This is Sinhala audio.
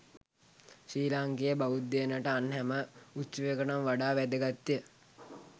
ශ්‍රී ලාංකේය බෞද්ධයනට අන් හැම උත්සවයකටම වඩා වැදගත්ය.